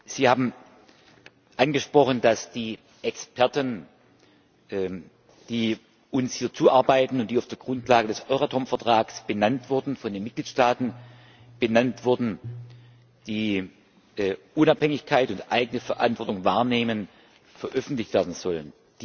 Sie haben angesprochen, dass die Experten, die uns hier zuarbeiten und die auf der Grundlage des Euratom Vertrags von den Mitgliedstaaten benannt wurden, die Unabhängigkeit und eigene Verantwortung wahrnehmen, veröffentlicht werden sollen.